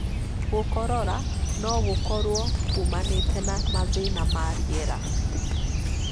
Gũkorora no gũkorwo kũmanĩte na mathĩna ma rĩera.